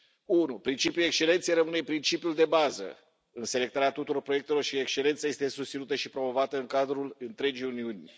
1. Principiul excelenței rămâne principiul de bază în selectarea tuturor proiectelor și excelența este susținută și promovată în cadrul întregii Uniuni.